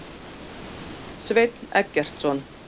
Sveinn Eggertsson.